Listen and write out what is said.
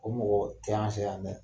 O mɔgɔ tɛ an sɛ yan dɛ.